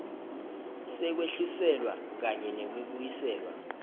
sekwehliselwa kanye nekubuyiselwa